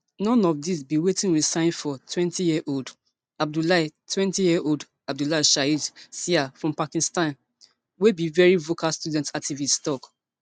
none of dis be wetin we sign for twentyyearold abdullah twentyyearold abdullah shahid sial from pakistan wey be veri vocal student activist tok